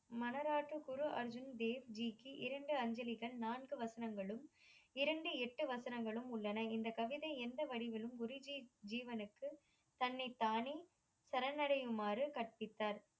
மனராற்று குரு அர்ஜுன் தேவ்ஜிக்கு இரண்டு அஞ்சலிகள் நான்கு வசனங்களும், இரண்டு, எட்டு வசனங்களும் உள்ளன. இந்த கவிதை எந்த வடிவிலும் குருஜி ஜீவனுக்கு தன்னைத்தானே சரணடையுமாறு கற்பித்தார்.